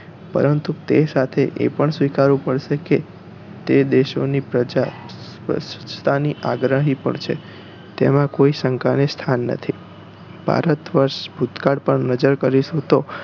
પરંતુ તે સાથે એ પણ સ્વીકારવા પડશે કે તે દેશો ની પ્રજા સ્વચ્છતા ની આગ્રહી પણ છે તેમાં કોઈ શંકા ને સ્થાન નથી ભારતવર્ષ ભૂતકાળ પર નજર કરીશું તો